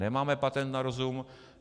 Nemáme patent na rozum.